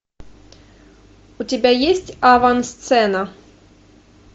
у тебя есть авансцена